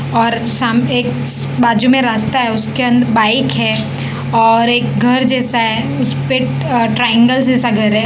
और साम एक बाजू में रास्ता है उसके अं बाइक है और एक घर जैसा है उस पे अ ट्रायंगल जैसा घर है।